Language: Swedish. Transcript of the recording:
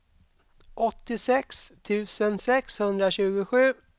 åttiosex tusen sexhundratjugosju